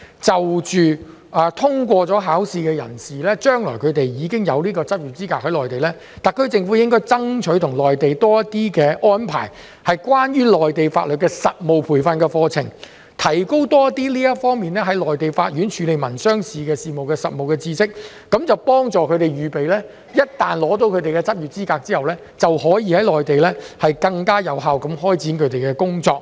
就着通過了有關考試，將來在內地有執業資格的人士，特區政府應該向內地爭取，安排多些關於內地法律的實務培訓的課程，為他們提供更多有關在內地法院處理民商事法律事務的實務知識，幫助他們預備在取得執業資格後，便可以在內地更有效地開展他們的工作。